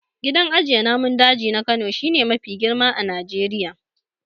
Gidan ajiye namun daji na Kano shi ne mafi girma a Najeriya.